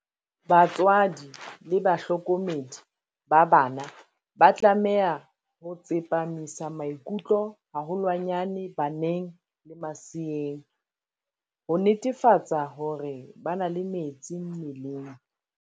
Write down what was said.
Batswadi le bahlokomedi ba bana ba tlameha ho tsepamisa maikutlo haholwanyane baneng le maseeng, ho netefatsa hore ba na le metsi mmeleng.